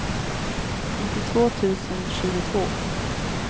nittiotvå tusen tjugotvå